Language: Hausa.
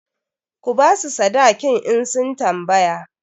Ku ba su sadakin in sun tambaya!